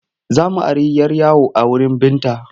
Za mu ari 'yar yawo a wurin Binta.